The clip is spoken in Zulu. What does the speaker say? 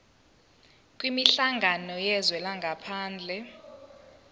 kwinhlangano yezwe langaphandle